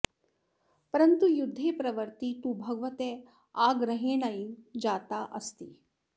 परन्तु युद्धे प्रवृत्तिः तु भगवतः आग्रहेणैव जाता अस्ति